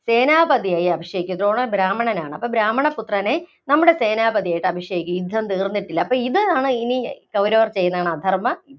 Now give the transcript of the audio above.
സേനാപതിയായി അഭിഷേകിക്കൂ. ദ്രോണർ ബ്രാഹ്മണനാണ്. അപ്പോ ബ്രാഹ്മണപുത്രനെ നമ്മുടെ സേനാപതിയായി അഭിഷേകിക്കു, യുദ്ധം തീര്‍ന്നിട്ടില്ല, അപ്പോ ഇതാണ് ഇനി കൗരവർ ചെയ്യുന്നതാണ് അധര്‍മ്മം.